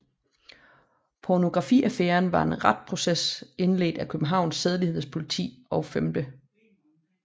Pornografiaffæren var en retsproces indledt af Københavns Sædelighedspoliti og 5